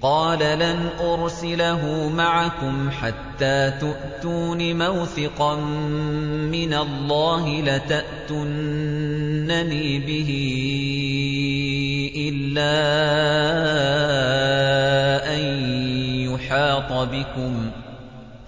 قَالَ لَنْ أُرْسِلَهُ مَعَكُمْ حَتَّىٰ تُؤْتُونِ مَوْثِقًا مِّنَ اللَّهِ لَتَأْتُنَّنِي بِهِ إِلَّا أَن يُحَاطَ بِكُمْ ۖ